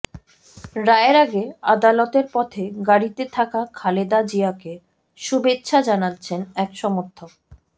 রায়ের আগে আদালতের পথে গাড়িতে থাকা খালেদা জিয়াকে শুভেচ্ছা জানাচ্ছেন এক সমর্থক